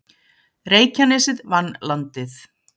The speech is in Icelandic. Reykjanesið vann Landið